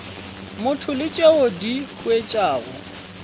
motho le tšeo di huetšago